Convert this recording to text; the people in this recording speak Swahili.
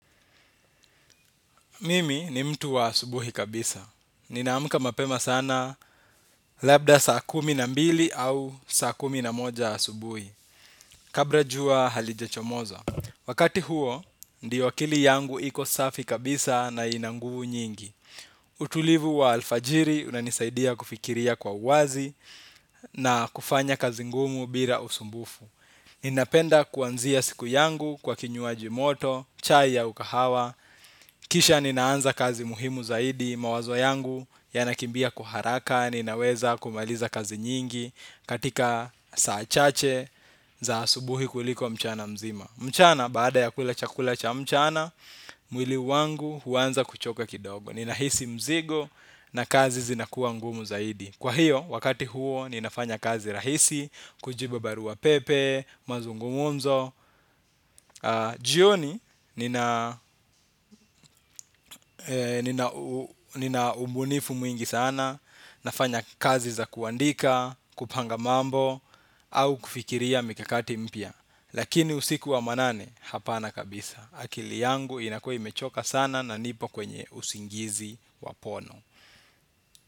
Mimi ni mtu wa asubuhi kabisa. Ninaamuka mapema sana labda saa kumi na mbili au saa kumi na moja asubuhi. Kabra jua halijachomoza. Wakati huo, ndio akili yangu iko safi kabisa na inanguvu nyingi. Utulivu wa alfajiri unanisaidia kufikiria kwa uwazi na kufanya kazi ngumu bira usumbufu. Ninapenda kuanzia siku yangu kwa kinyuaji moto, chai yau kahawa. Kisha ninaanza kazi muhimu zaidi, mawazo yangu yanakimbia kwa uharaka. Ninaweza kumaliza kazi nyingi katika saa chache za subuhi kuliko mchana mzima. Mchana, baada ya kulacha kulacha mchana, mwili wangu huanza kuchoka kidogo. Ninahisi mzigo na kazi zinakuwa ngumu zaidi. Kwa hiyo, wakati huo, ninafanya kazi rahisi, kujibu baruwa pepe, mazungumumzo. Jioni nina ubunifu mwingi sana nafanya kazi za kuandika, kupanga mambo au kufikiria mikakati mpia lakini usiku wa manane hapana kabisa akili yangu inakua imechoka sana na nipo kwenye usingizi wa pono.